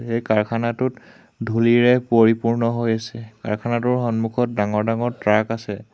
এই কাৰখানাটোত ধুলিৰে পৰিপূৰ্ণ হৈ আছে কাৰখানাটোৰ সন্মুখত ডাঙৰ ডাঙৰ ট্ৰাক আছে।